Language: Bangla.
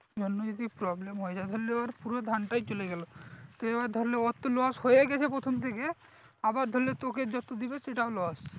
জন্য যদি problem হয়ে যায় ধরে না ওর পুরো ধানটাই চলে গেলো তা এবার ধরে নে ওর তো loss হয়েই গেছে প্রথম থেকে আবার ধরে না তোকে যত দেবে সেটাও loss